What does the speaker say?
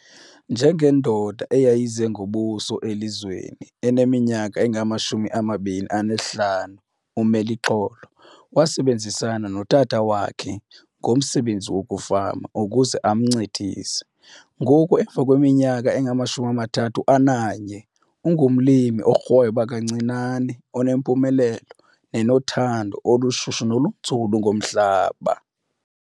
Njengendoda eyayize ngobuso elizweni eneminyaka eyi-25, uMeluxolo wasebenzisana notata wakhe ngomsebenzi wokufama ukuze amncedise. Ngoku emva kweminyaka engamashumi amathathu ananye, ungumlimi orhweba kancinane onempumelelo nenothando olushushu nolunzulu ngomhlaba.